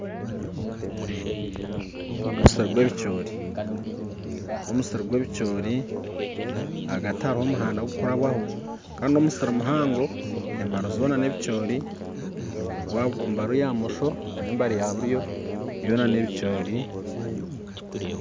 Ogu n'omusiri gw'ebicoori n'omusiri gwebicoori ahagati hariho omuhanda gukurabaho kandi n'omusiri muhango embari zoona nebicoori embari ya bumosho n'embari yaburyo byona n'ebicoori.